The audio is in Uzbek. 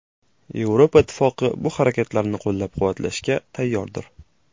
Yevropa Ittifoqi bu harakatlarni qo‘llab-quvvatlashga tayyordir.